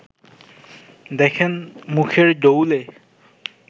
দেখেন মুখের ডৌলে